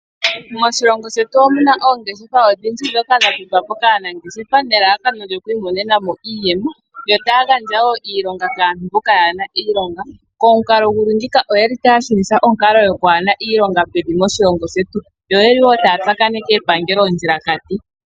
Moshilongo shetu omuna oongeshefa odhindji dhoka dha dhikwa po kaanangeshefa nelalakano lyoku imonena mo iiyemo. Yo taya gandja wo iilonga kaantu mboka yaana iilonga, komukalo guli ngiika oyeli ta shunitha onkalo gokwaahena iilonga pevi moshilongo shetu. Yo oyeli wo taa tsakaneke epangelo ondjilakati.